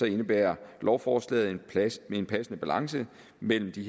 indebærer lovforslaget en passende balance mellem de